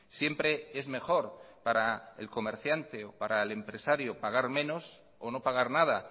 siempre es mejor para el comerciante o para el empresario pagar menos o no pagar nada